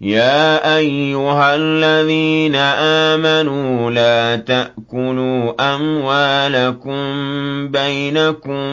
يَا أَيُّهَا الَّذِينَ آمَنُوا لَا تَأْكُلُوا أَمْوَالَكُم بَيْنَكُم